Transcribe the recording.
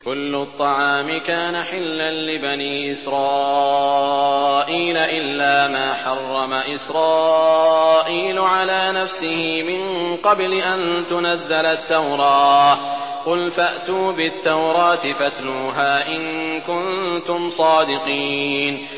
۞ كُلُّ الطَّعَامِ كَانَ حِلًّا لِّبَنِي إِسْرَائِيلَ إِلَّا مَا حَرَّمَ إِسْرَائِيلُ عَلَىٰ نَفْسِهِ مِن قَبْلِ أَن تُنَزَّلَ التَّوْرَاةُ ۗ قُلْ فَأْتُوا بِالتَّوْرَاةِ فَاتْلُوهَا إِن كُنتُمْ صَادِقِينَ